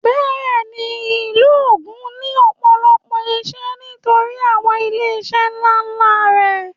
Bẹ́ẹ̀ni ìlú Ògùn ní ọ̀pọ̀lọpọ̀ ìṣe nítorí àwọn ilé iṣẹ́ ńlá ńlá rẹ̀